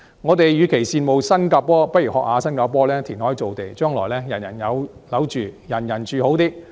我們與其羨慕新加坡，不如效法新加坡填海造地，將來人人有樓住，人人住好些。